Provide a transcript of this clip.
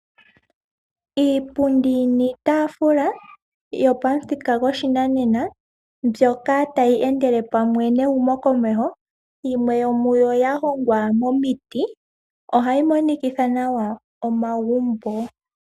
Iipundi niitaafula yo pamuthika gopashinanena mbyoka tayi endelele pamwe nehumokomeho yimwe yomuyo yahongwa momiti ohayi monikitha nawa omagumbo.